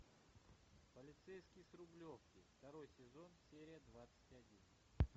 полицейский с рублевки второй сезон серия двадцать один